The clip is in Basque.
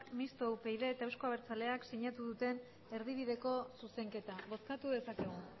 mistoa upyd eta euzko abertzaleak sinatu duten erdibideko zuzenketa bozkatu dezakegu